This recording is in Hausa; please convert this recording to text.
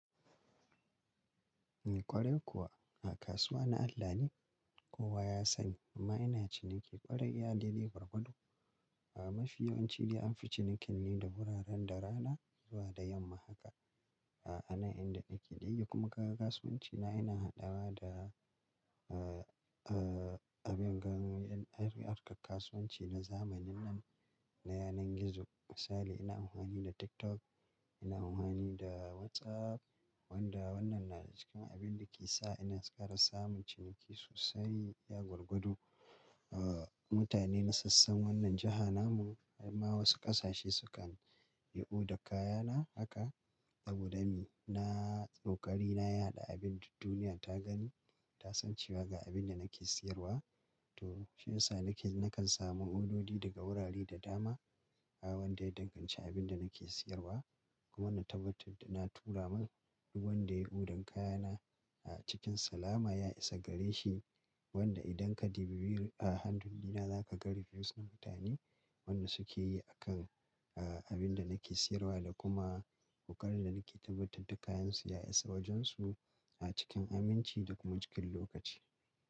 Ni ƙwarai kuwa a kasuwa na Allah ne kowa ya sani amma ina cinikin ƙwarai ya dai bai gurgado. A mafi yawanci dai an fi cinikin ne da wuraren da rana zuwa da yamma haka. A ana inda nake ɗaya kuma ga kasuwanci na ina haɗawa da a abin gano ƴan ƴan harkar kasuwanci na zamanin nan na yanar gizo. Misali ina amfani da TikTok, ina amfani da WhatsApp wanda wannan na daga cikin abin da ke sa ina ƙara samun ciniki sosai iya gurgadu. A mutane na sassan wannan jiha namun har ma wasu ƙasashe sukan yi odar kayana haka saboda ni na tsokari na ya haɗa abin da duniya ta gani ta san cewa ga abin da nake siyarwa to shi yasa nake nakan samu ododi daga wurare da dama wanda ya danganci abin da nake siyarwa. Kuma na tabbatar da na tura min duk wanda ya odan kayana a cikin salama ya isa gare shi wanda idan ka ɗibi a handuna zaka ga reviews na mutane wanda suke yi a kan a abin da nake siyarwa da kuma kokarin da nake tabbatar da kayansu ya isa wajensu a cikin aminci da kuma cikin lokaci.